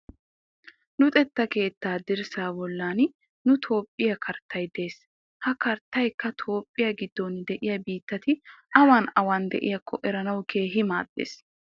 Luxetta keettaa dirssaa bollan nu toophphiya karttay des. Ha karttayikka toophphiya giddon diya biittati awan awan diyaakko eranawu keehi maaddes.